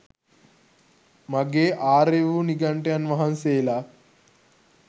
මගේ ආර්ය වූ නිගණ්ඨයන් වහන්සේලා